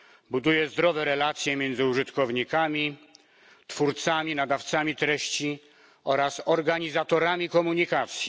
Buduje zdrowe relacje między użytkownikami, twórcami i nadawcami treści oraz organizatorami komunikacji.